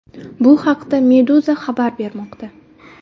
Bu haqda Meduza xabar bermoqda .